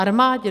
Armádě?